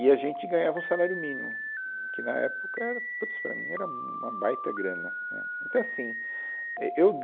E a gente ganhava um salário mínimo, que, na época, era, putz, para mim, era um, uma baita grana, né. Então assim, é, eu